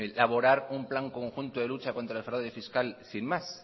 elaborar un plan conjunto de lucha contra el fraude fiscal sin más